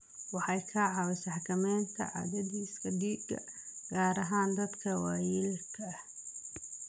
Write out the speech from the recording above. Waxay ka caawisaa xakamaynta cadaadiska dhiigga, gaar ahaan dadka waayeelka ah.